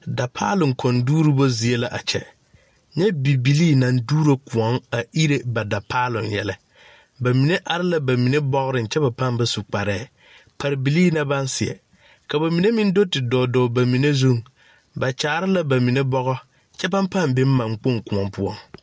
Dapaaloŋ koɔŋ duubo zie la a kyɛ nyɛ Bibilee naŋ duuro koɔŋ a ere ba dapaaloŋ yɛlɛ bamine are la ba mine bɔgriŋ kyɛ ba paŋ ba su kparɛɛ pare bilee la baŋ seɛ ka mine meŋ do tidɔɔ dɔɔ ba mine zuŋ ba kyaare la bamine bɔgɔ kyɛ baŋ paŋ be maŋkpoŋ kaŋ koɔ poɔ.